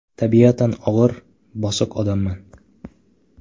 Tabiatan og‘ir, bosiq odamman.